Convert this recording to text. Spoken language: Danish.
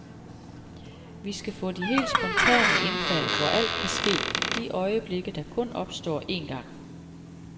Vi skal få de helt spontane indfald, hvor alt kan ske, de øjeblikke, der kun opstår en gang.